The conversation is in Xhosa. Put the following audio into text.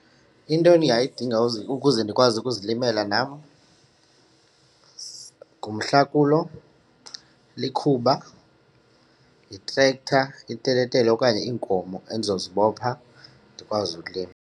Into endingayidinga ukuze ndikwazi ukuzilimela nam ngumhlakulo, likhuba, yi-tractor, iteletele okanye iinkomo endizozibopha ndikwazi ulima.